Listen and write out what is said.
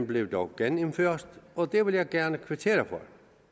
blev dog genindført og det vil jeg gerne kvittere for